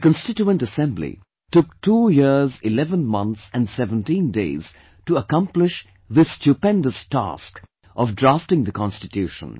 The Constituent Assembly took 2 years 11 months and 17 days to accomplish this stupendous task of drafting the Constitution